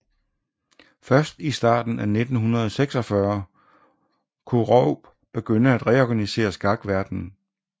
Først i starten af 1946 kunne Rueb begynde at reorganisere skakverdenen